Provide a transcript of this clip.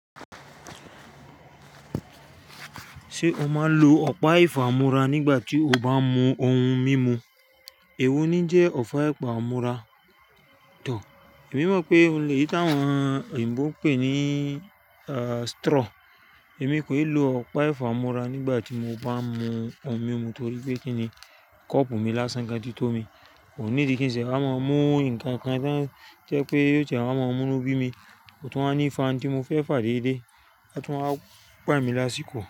Ṣé o máa ń lo ọ̀pá ìfámúra nígbà tí o bá ń mu ohun mímu? Èwo ni jẹ́ ọ̀pá ìfámúra? Tọ̀, èmi mọ̀ pé óun le yí táwọn oyinbo ń pè ní straw. Èmi kò ì lo ọ̀pá ìfámúra nígbà tí mo bá ń mu ohun mímu torí pé kíni, kọ́ọ́pù mi lásán kan ti tó mi. Kò níìdí kí n ṣe wa máa mú nnkan kan tí o jẹ́ pé yóò tiẹ́ wa máa mú ínu bí mi, kò tún wa ní fa n tí mo fẹ́ fà déédé, a tún wá gbà mí lásìkò.